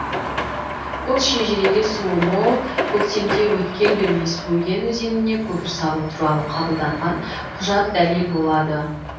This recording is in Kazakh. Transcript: бұл шежіреге суы мол көктемде өткел бермес бөген өзеніне көпір салу туралы қабылданған құжат дәлел болады